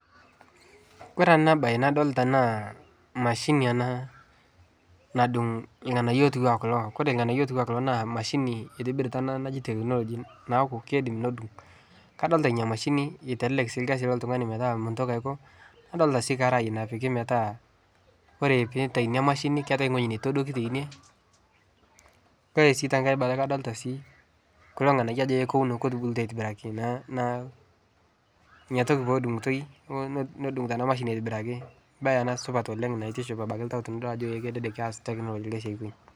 kore ana bai nadolita naa mashini anaa nadung lghanayo otuwaa kulo, kore lghanayo otuwaa kuloo naa mashini eitibirita ana naji teknologi naaku keidim nodung. kadolita inia mashini eitelelek sii lkazi lotungani metaa muntoki aiko nadolita sii karai napiki metaa kore peitai inia mashini keitai nghoji neitodoki teinie kore sii tankai bata kadolita sii ajo kore kulo nghanayo ajo e kuwuno ketubulutua aitibiraki naa inia toki pedungutoi nodungutoo ana mashini aitibiraki mbai ana supat naitiship abaki ltau tinidol ajo e kedede keaz teknologi lkazi aikonyi